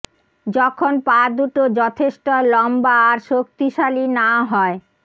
যখন পা দুটো যথেষ্ট লম্বা আর শক্তিশালী না হয়